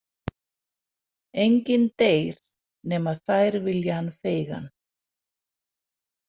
Enginn deyr nema þær vilji hann feigan.